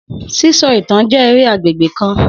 Sisọ itan jẹ ere agbegbe kan.